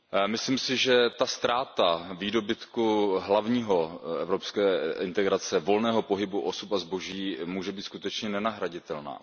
Myslím si, že ztráta hlavního výdobytku evropské integrace volného pohybu osob a zboží může být skutečně nenahraditelná.